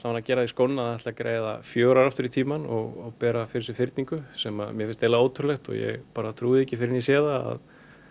að gera því skóna að greiða fjögur ár aftur í tímann og bera fyrir sig fyrningu sem mér finnst eiginlega ótrúlegt og ég bara trúi því ekki fyrr en ég sé það